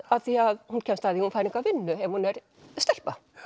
af því að hún kemst að því að fær enga vinnu ef hún er stelpa